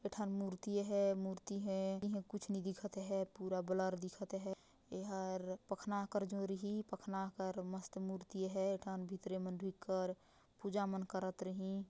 ethane मूर्ति है मूर्ति है इहा कुछ नहीं दिखत है पूरा ब्लर दिखत है इंहा पखना कर जोराही पखना कर मस्त मूर्ति है इथान भीतरे मंदिर कर पूजा मन करत रही--